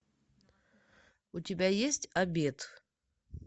у тебя есть обед